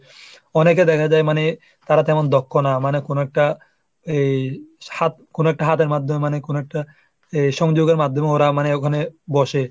অনেকে দেখা যায় মানে তারা তেমন দক্ষ না মানে কোন একটা এই হাত কোন একটা হাতের মাধ্যমে মানে কোন একটা আহ সংযোগের মাধ্যমে ওরা মানে ওখানে বসে।